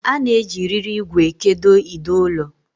A na-eji riri ìgwè ekedo ide ụlọ.